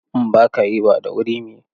In ba ka yi, ba da wuri mu yi.